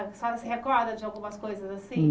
A senhora se recorda de algumas coisas assim?